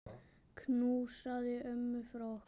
Knúsaðu ömmu frá okkur.